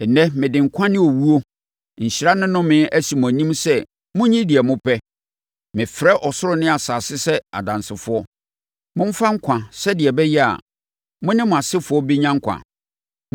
Nnɛ mede nkwa ne owuo, nhyira ne nnome, asi mo anim sɛ monyi deɛ mopɛ. Mefrɛ ɔsoro ne asase sɛ adansefoɔ. Momfa nkwa, sɛdeɛ ɛbɛyɛ a, mo ne mo asefoɔ bɛnya nkwa!